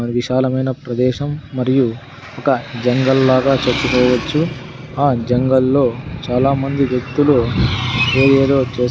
అది విశాలమైన ప్రదేశం మరియు ఒక జంగల్ లాగా చెప్పుకోపోవచ్చు ఆ జంగల్ లో చాలామంది వ్యక్తులు ఏదేదో చేస్తు --